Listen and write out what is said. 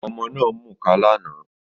Ọmọ náà ń mukà lánàá